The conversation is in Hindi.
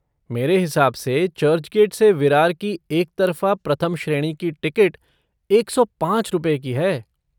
मेरे हिसाब से चर्चगेट से विरार की एकतरफ़ा प्रथम श्रेणी की टिकट एक सौ पाँच रुपए की है।